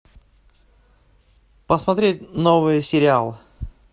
посмотреть новый сериал